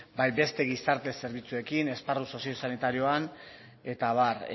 bai beste gizarte zerbitzuekin esparru soziosanitarioan eta abar